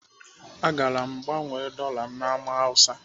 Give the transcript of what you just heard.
Agara m gaa gbanwee dọla na Ámá Hausa.